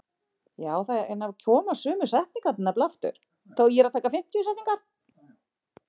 Þó er töluvert um einkaskóla sem krefja nemendur um skólagjöld.